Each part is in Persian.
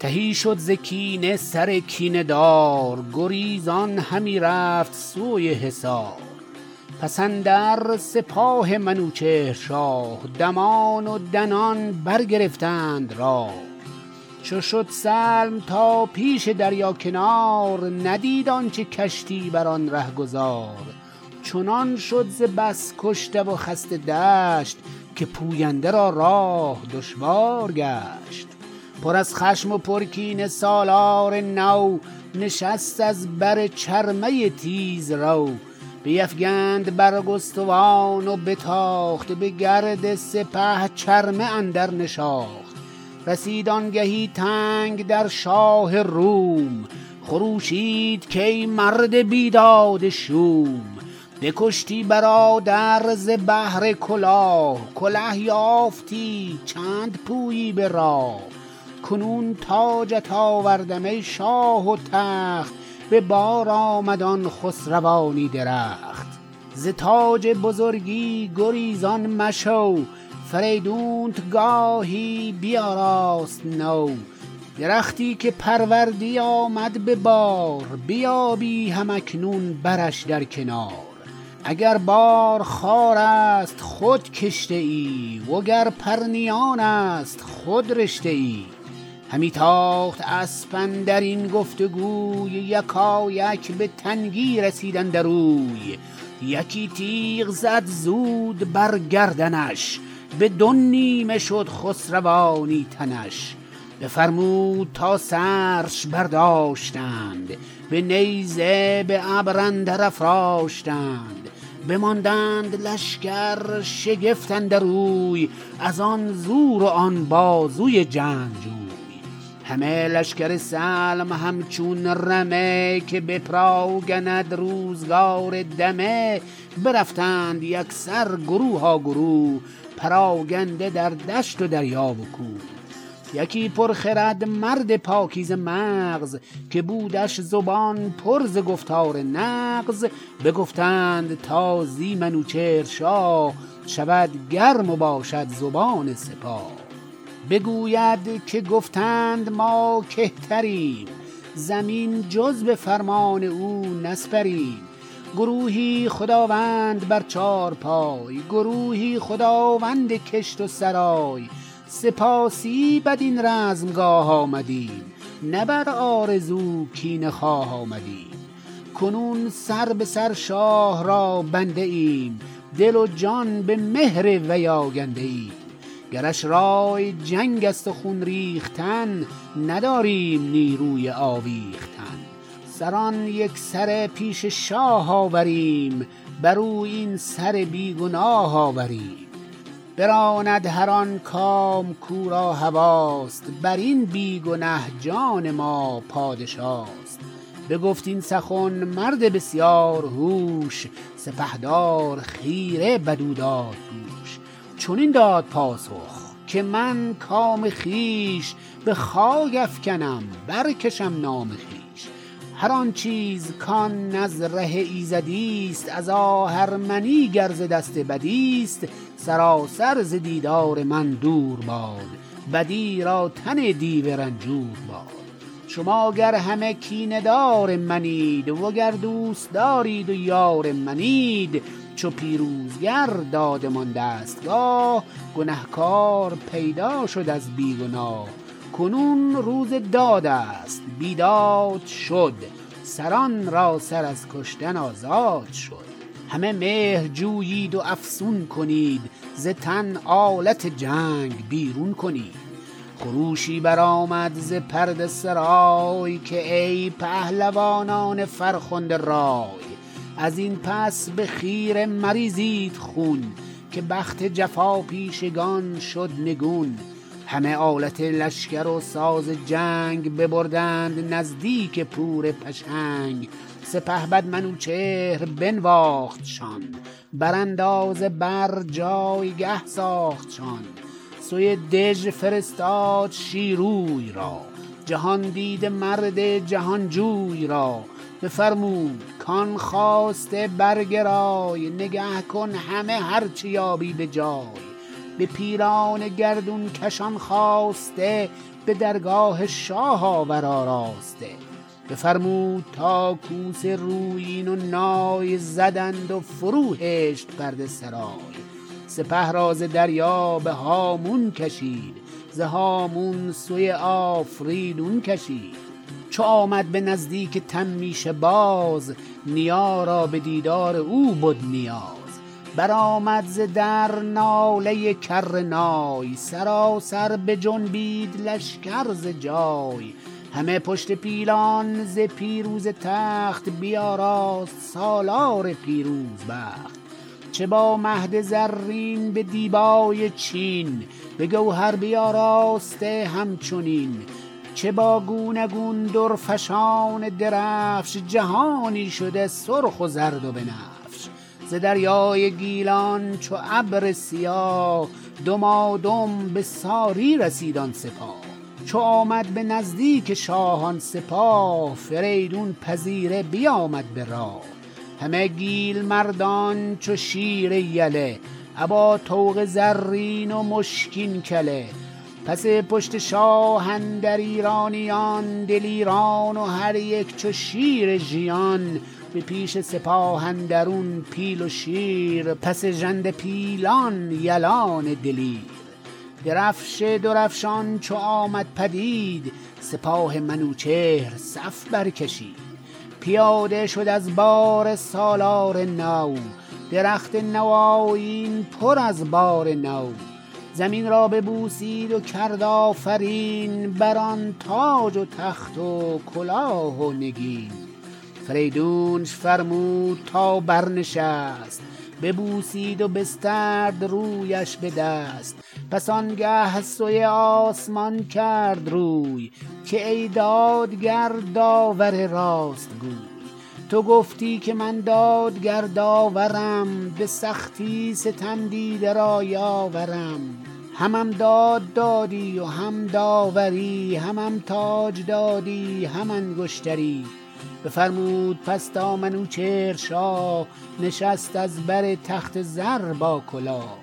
تهی شد ز کینه سر کینه دار گریزان همی رفت سوی حصار پس اندر سپاه منوچهر شاه دمان و دنان برگرفتند راه چو شد سلم تا پیش دریا کنار ندید آنچه کشتی برآن رهگذار چنان شد ز بس کشته و خسته دشت که پوینده را راه دشوار گشت پر از خشم و پر کینه سالار نو نشست از بر چرمه تیزرو بیفگند برگستوان و بتاخت به گرد سپه چرمه اندر نشاخت رسید آنگهی تنگ در شاه روم خروشید کای مرد بیداد شوم بکشتی برادر ز بهر کلاه کله یافتی چند پویی براه کنون تاجت آوردم ای شاه و تخت به بار آمد آن خسروانی درخت زتاج بزرگی گریزان مشو فریدونت گاهی بیاراست نو درختی که پروردی آمد به بار بیابی هم اکنون برش در کنار اگر بار خارست خود کشته ای و گر پرنیانست خود رشته ای همی تاخت اسپ اندرین گفت گوی یکایک به تنگی رسید اندر اوی یکی تیغ زد زود بر گردنش بدو نیمه شد خسروانی تنش بفرمود تا سرش برداشتند به نیزه به ابر اندر افراشتند بماندند لشکر شگفت اندر اوی ازان زور و آن بازوی جنگجوی همه لشکر سلم همچون رمه که بپراگند روزگار دمه برفتند یکسر گروها گروه پراگنده در دشت و دریا و کوه یکی پرخرد مرد پاکیزه مغز که بودش زبان پر ز گفتار نغز بگفتند تا زی منوچهر شاه شود گرم و باشد زبان سپاه بگوید که گفتند ما کهتریم زمین جز به فرمان او نسپریم گروهی خداوند بر چارپای گروهی خداوند کشت و سرای سپاهی بدین رزمگاه آمدیم نه بر آرزو کینه خواه آمدیم کنون سر به سر شاه را بنده ایم دل و جان به مهر وی آگنده ایم گرش رای جنگ است و خون ریختن نداریم نیروی آویختن سران یکسره پیش شاه آوریم بر او سر بیگناه آوریم براند هر آن کام کو را هواست برین بیگنه جان ما پادشاست بگفت این سخن مرد بسیار هوش سپهدار خیره بدو دادگوش چنین داد پاسخ که من کام خویش به خاک افگنم برکشم نام خویش هر آن چیز کان نز ره ایزدیست از آهرمنی گر ز دست بدیست سراسر ز دیدار من دور باد بدی را تن دیو رنجور باد شما گر همه کینه دار منید وگر دوستدارید و یار منید چو پیروزگر دادمان دستگاه گنه کار پیدا شد از بی گناه کنون روز دادست بیداد شد سران را سر از کشتن آزاد شد همه مهر جویید و افسون کنید ز تن آلت جنگ بیرون کنید خروشی بر آمد ز پرده سرای که ای پهلوانان فرخنده رای ازین پس به خیره مریزید خون که بخت جفاپیشگان شد نگون همه آلت لشکر و ساز جنگ ببردند نزدیک پور پشنگ سپهبد منوچهر بنواختشان براندازه بر پایگه ساختشان سوی دژ فرستاد شیروی را جهاندیده مرد جهانجوی را بفرمود کان خواسته برگرای نگه کن همه هر چه یابی به جای به پیلان گردونکش آن خواسته به درگاه شاه آور آراسته بفرمود تا کوس رویین و نای زدند و فرو هشت پرده سرای سپه را ز دریا به هامون کشید ز هامون سوی آفریدون کشید چو آمد به نزدیک تمیشه باز نیا را بدیدار او بد نیاز برآمد ز در ناله کر نای سراسر بجنبید لشکر ز جای همه پشت پیلان ز پیروزه تخت بیاراست سالار پیروز بخت چه با مهد زرین به دیبای چین بگوهر بیاراسته همچنین چه با گونه گونه درفشان درفش جهانی شده سرخ و زرد و بنفش ز دریای گیلان چو ابر سیاه دمادم بساری رسید آن سپاه چو آمد بنزدیک شاه آن سپاه فریدون پذیره بیامد براه همه گیل مردان چو شیر یله ابا طوق زرین و مشکین کله پس پشت شاه اندر ایرانیان دلیران و هر یک چو شیر ژیان به پیش سپاه اندرون پیل و شیر پس ژنده پیلان یلان دلیر درفش درفشان چو آمد پدید سپاه منوچهر صف بر کشید پیاده شد از باره سالار نو درخت نوآیین پر از بار نو زمین را ببوسید و کرد آفرین بران تاج و تخت و کلاه و نگین فریدونش فرمود تا برنشست ببوسید و بسترد رویش به دست پس آنگه سوی آسمان کرد روی که ای دادگر داور راست گوی تو گفتی که من دادگر داورم به سختی ستم دیده را یاورم همم داد دادی و هم داوری همم تاج دادی هم انگشتری بفرمود پس تا منوچهر شاه نشست از بر تخت زر با کلاه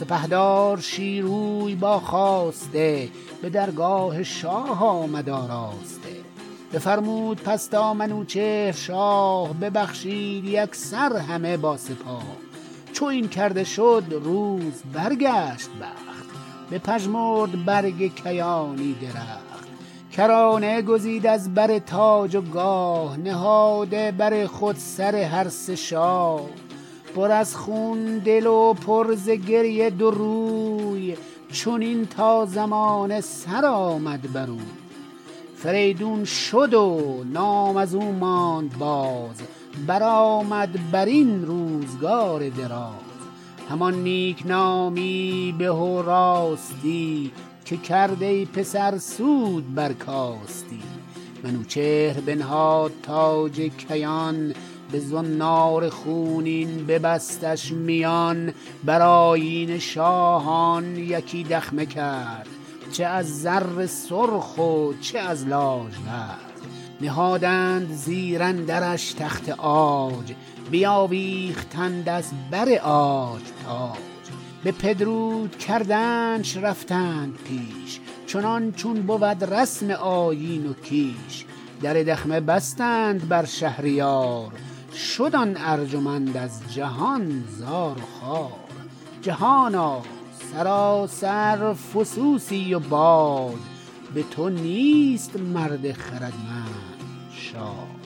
سپهدار شیروی با خواسته به درگاه شاه آمد آراسته بفرمود پس تا منوچهر شاه ببخشید یکسر همه با سپاه چو این کرده شد روز برگشت بخت بپژمرد برگ کیانی درخت کرانه گزید از بر تاج و گاه نهاده بر خود سر هر سه شاه پر از خون دل و پر ز گریه دو روی چنین تا زمانه سرآمد بروی فریدون شد و نام ازو ماند باز برآمد برین روزگار دراز همان نیکنامی به و راستی که کرد ای پسر سود برکاستی منوچهر بنهاد تاج کیان بزنار خونین ببستش میان برآیین شاهان یکی دخمه کرد چه از زر سرخ و چه از لاژورد نهادند زیر اندرش تخت عاج بیاویختند از بر عاج تاج بپدرود کردنش رفتند پیش چنان چون بود رسم آیین و کیش در دخمه بستند بر شهریار شد آن ارجمند از جهان زار و خوار جهانا سراسر فسوسی و باد بتو نیست مرد خردمند شاد